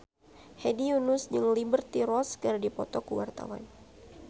Hedi Yunus jeung Liberty Ross keur dipoto ku wartawan